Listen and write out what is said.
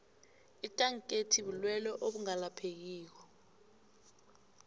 ikanketi bulelwe obungalaphekiko